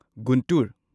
Guntur